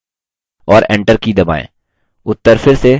और enter की दबाएँ